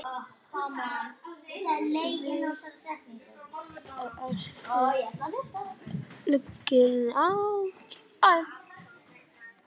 Því að ástinni fylgir ábyrgð.